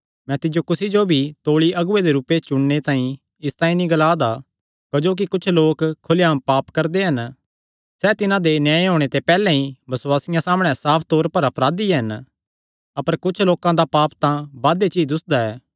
मैं तिज्जो कुसी जो भी तौल़ी अगुऐ दे रूपे च चुणने तांई इसतांई नीं ग्ला दा ऐ क्जोकि कुच्छ लोक खुल्लेआम पाप करदे हन सैह़ तिन्हां दे न्याय होणे ते पैहल्ले ई बसुआसियां सामणै साफ तौर पर अपराधी हन अपर कुच्छ लोकां दा पाप तां बादे च ई दुस्सदा ऐ